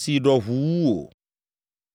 si ɖɔ ʋu wu wò.